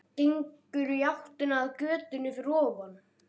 Gengur í áttina að götunni fyrir ofan.